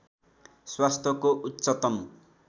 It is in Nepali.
स्वास्थ्यको उच्चतम